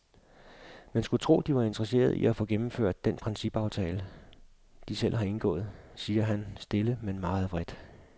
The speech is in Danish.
Man skulle tro, de var interesserede i at få gennemført den principaftale, de selv har indgået siger han stille men meget vredt.